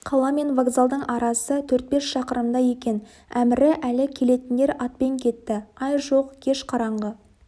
қала мен вокзалдың арасы төрт-бес шақырымдай екен әмірі әлі келетіндер атпен кетті ай жоқ кеш қараңғы